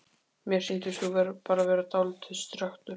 Mér sýndist þú bara vera dáldið strekktur.